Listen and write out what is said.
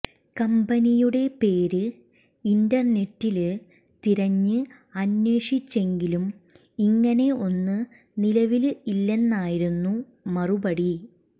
കമ്പനിയുടെ പേര് ഇന്റര്നെറ്റില് തിരഞ്ഞ് അന്വേഷിച്ചെങ്കിലും ഇങ്ങനെ ഒന്ന് നിലവില് ഇല്ലെന്നായിരുന്നു മറുപടി